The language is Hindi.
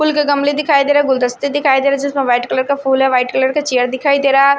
फूल के गमले दिखाई दे रहा है गुलदस्ते दिखाई दे रहा है जिसमें वाइट कलर का फूल है वाइट कलर का चेयर दिखाई दे रहा है।